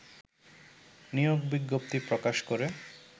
নিয়োগ বিজ্ঞপ্তি প্রকাশ করে